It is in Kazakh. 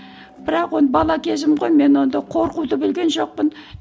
бірақ оны бала кезім ғой мен онда қорқуды білген жоқпын